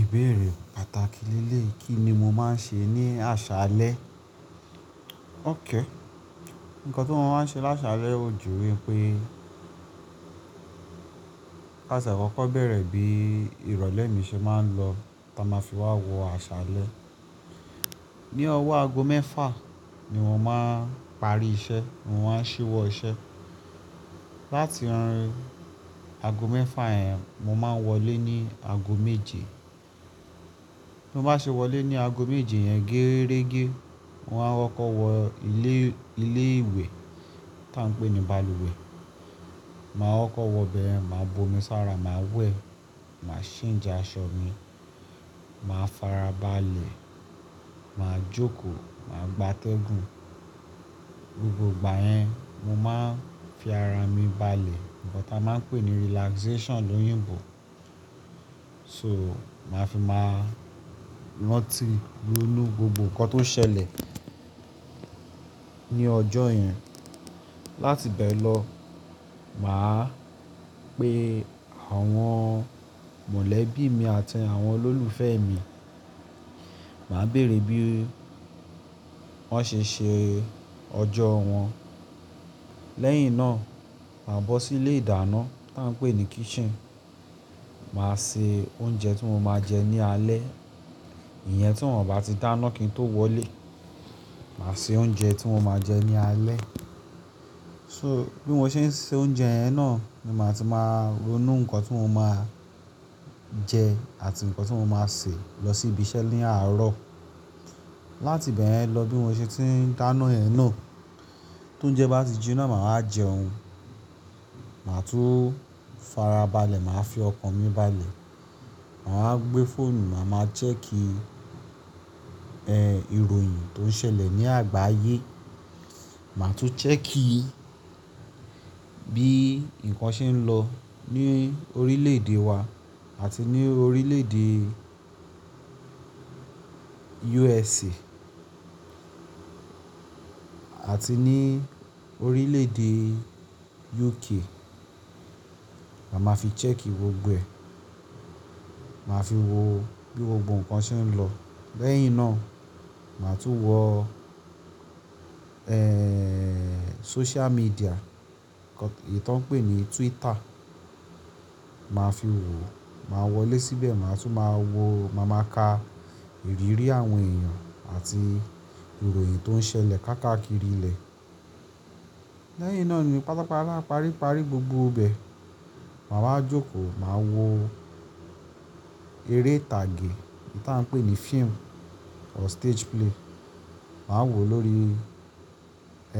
Ìbéèrè pàtàkì leleyii, kí ni mo máa ń ṣe ní àṣálẹ́? Ókay--, nǹkan ti n máa ń ṣe láṣálẹ́ òju wípé káṣẹ̀ kọ́kọ́ bẹ̀rẹ̀ bí ìrọ̀lẹ́ mi ṣe máa ń lọ táa máa fi wá wọ àṣálẹ́. Ni ọwọ́ ago mẹ́fà ni wọ́n máa ń parí iṣẹ́, mo máa ń ṣíwọ́ iṣẹ́. Láti ago mẹ́fà yẹn, mo máa ń wọlé ní ago méje. Bí mo bá ṣe wọlé ní ago méje yẹn gẹ́rẹ́gẹ́, mo máa n kọkọ wọ ilé, ilé ìwẹ̀ táa ń pè ní balùwẹ̀. Máa kọkọ wọ ibẹ̀yẹ̀n, màá b'omi sára, màá wẹ̀, màá change aṣọ mi, màá farabalẹ̀, màá jókòó, màá gbátẹ́gùn. Gbogbo ìgbà yẹn mo máa ń fi ara mi balẹ̀, nkan táa máa ń pè ní relaxation lóyìnbó. So, màá fi máa rántí ronú gbogbo nǹkan tó ṣẹlẹ̀ ní ọjọ́ yẹn. Láti bẹ́ẹ̀ lọ, màá pe àwọn mọ̀lẹ́bí mi àti àwọn olólùfẹ́ mi. Màá bèrè bí wọ́n ṣe ṣe ọjọ́ wọn. Lẹ́yìn náà, màá bọ́ sí ilé ìdáná táa ń pè ní kitchen. Màá se oúnjẹ tí mo máa jẹ ní alẹ́. Ìyẹn tí wọ́n ò bá ti dáná kí n tó wọlé. Màá se oúnjẹ tí mo máa jẹ ní alẹ́. So, bí mo ṣe ń se oúnjẹ yẹn náà ni màá ti máa ronú nǹkan tí mo máa jẹ àti nǹkan tí mo máa ṣe lọ sí ibi iṣẹ́ ní àárọ̀. Láti bẹ́ẹ̀yen lọ bí mo ṣe ti ń dáná yẹn náà, tó jẹ bá ti jinná, màá jẹun. Màá tún farabalẹ̀, màá fi ọkàn mi balẹ̀. Màá wá gbé fóònù, màá máa ń check, ẹ́, ìròyìn tó ń ṣẹlẹ̀ ní àgbáyé. Màá tún check bí nǹkan ṣe ń lọ ní orílẹ̀-èdè wa àti ní orílẹ̀-èdè USA àti ní orílẹ̀-èdè UK. Màá máa fi check gbogbo ẹ̀. Màá fi wò bí gbogbo nǹkan ṣe ń lọ. Lẹ́yìn náà, màá tún wọ, ẹ́ẹ́ẹ́, social media, èyí tó ń pè ní Twitter. Màá fi wò, màá wọlé síbẹ̀, màá tún máa wò, màá máa ka ìrírí àwọn èèyàn àti ìròyìn tó ń ṣẹlẹ̀ káàkiri ilẹ̀. Lẹ́yìn náà ni pátápátá paríparí gbogbo bẹ̀, màá wá jókòó, màá wo eré ìtàgé táa ń pè ní film or stage play. Màá wò lórí,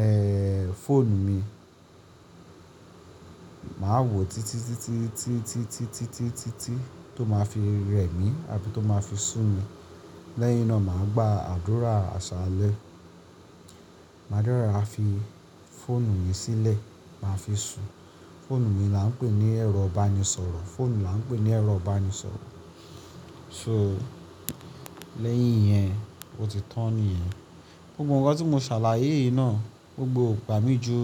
ẹ́ẹ́ẹ́, fóònù mi. Màá wò títí, títí, títí, títí, títí, títí, títí tó máa fi rẹ̀ mí àbí tó máa fi sùn mi. Lẹ́yìn náà màá gba àdúrà àṣálẹ́. Màá dẹ́ rora fi fóònù mi sílẹ̀, màá fi sùn. Fóònù ni là ń pè ní ẹ̀rọ ìbánisọ̀rọ̀, fóònù là ń pè ní ẹ̀rọ ìbánisọ̀rọ̀. So, lẹ́yìn yẹn, ó ti tán nìyẹn. Gbogbo nǹkan tí mo ṣàlàyé yìí náà, gbogbo è ò gbàmí ju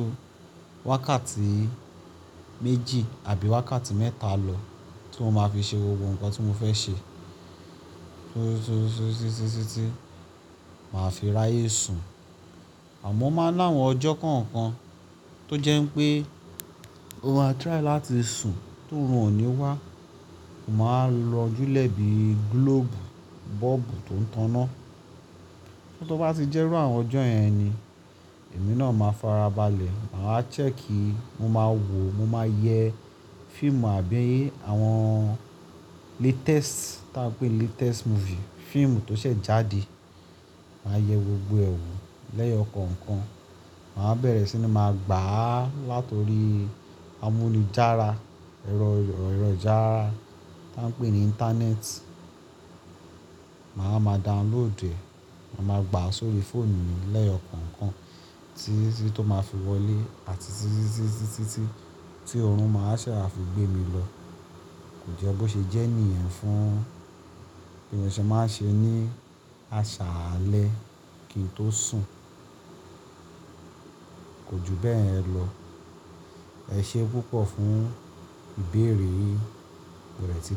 wákàtí méjì àbí wákàtí mẹ́ta lọ tí mo máa fi ṣe gbogbo nǹkan tí mo fẹ́ ṣe. So, so, so, títí, títí, màá fi ráyé sùn. Àmọ́ ó máa ń ná àwọn ọjọ́ kọ̀ọ̀kan tó jẹ́ pé ó máa try láti sùn t'oorun ò ní wá. Mo máa lọ júlẹ̀ bí globe, bulb tó ń taná. Tó bá ti jẹ́rú àwọn ọjọ́ yẹn ni, èmi náà máa farabalẹ̀. Màá wá check, mo máa wò, mo máa yẹ fíìmù àbí àwọn latest táa ń pè ní latest movie, fíìmù tó ṣẹ̀ jáde. Màá yẹ gbogbo ẹ̀ wò. Lẹ́yọ kọ̀ọ̀kan, màá bẹ̀rẹ̀ sí ní máa gbà á látori amúnijára, ẹ̀rọ, ẹ̀rọ jára táa ń pè ní íńtánẹ́ẹ̀tì. Màá wá máa download ẹ̀, màá máa gbà á sórí fóònù mi lẹ́yọ kọ̀ọ̀kan títí tó máa fi wọlé àti títí, títí, títí tí ọ̀run máa ṣẹ́ wa fi gbé mi lọ. Kò jé bó ṣe jẹ́ nìyen fún bí mo ṣe máa ń ṣe ní àṣálẹ́ kí n tó sùn. Kò ju bẹ́ẹ̀ lọ. Ẹ ṣé púpọ̀ fún ìbéèrè yín.